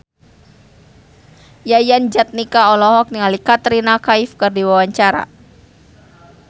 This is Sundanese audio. Yayan Jatnika olohok ningali Katrina Kaif keur diwawancara